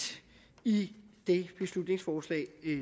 i det beslutningsforslag